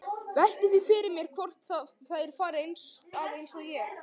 Velti því fyrir mér hvort þær fari að einsog ég.